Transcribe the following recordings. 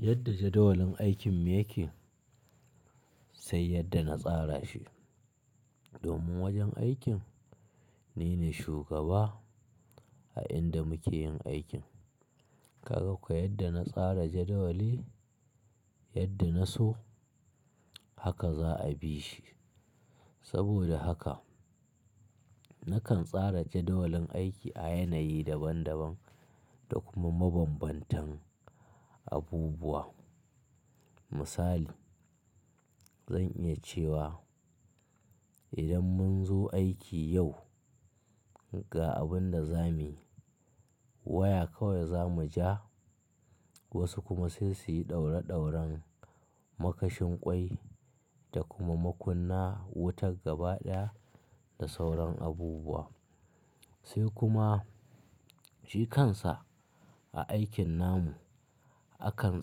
Yadda jadawalin aikin yake, sai yadda na tsara shi. Domin wajen aikin ni ne shugaba a inda muke yin aikin, karako yadda na tsara jadawali yadda na so haka za a bi shi. Saboda haka nakan tsara jadawalin aiki a yanayi daban-daban da kuma mabanbantan abubuwa. Misali, zan iya cewa idan mun zo aiki yau ga abin da zamuyi, waya kawai za mu ja, wasu kuma sai su yi ɗaura-ɗauran makashin ƙwai da kuma makunna wutar gaba ɗaya da sauran abubuwa. Sai kuma shi kansa a aikin namu akan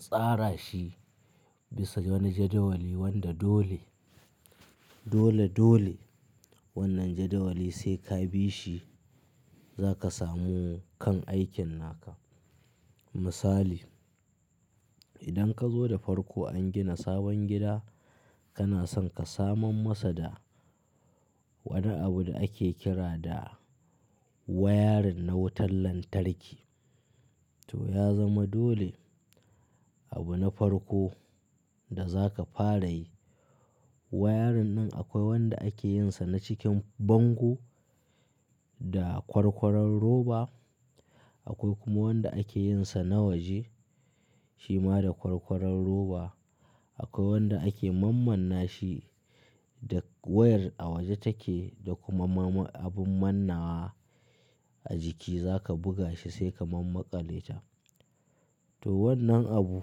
tsara shi bisa wani jadawali wanda dole, dole, dole wannan jadawali sai ka bi shi za ka samu kan aikin naka. Misali, idan ka zo da farko an gina sabon gida kana son ka saman masa da wani abu da ake kira da wayarin na wutar lantarki. To ya zama dole abu na farko da za ka fara yi. Wayarin nan akwai wanda ake yin sa na cikin bango da kwarkwaron roba, akwai kuma wanda ake yin sa na waje shima da kwarkwaron roba. Akwai wanda ake mammanna shi da wayar a waje take da kuma ma-abun mannawa a jiki za ka buga shi sai ka ma maƙale ta. To wannan abu.